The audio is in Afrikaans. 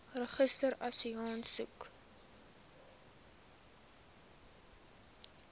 registrasieaansoek